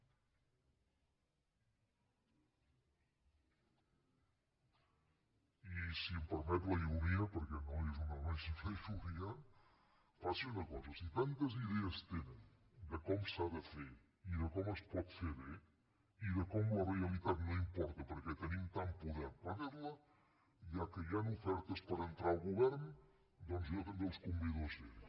i si em permet la ironia perquè no és una ironia faci una cosa si tantes idees tenen de com s’ha de fer i de com es pot fer bé i de com la realitat no importa perquè tenim tant poder per fer la ja que hi han ofertes per entrar al govern doncs jo també els convido a ser hi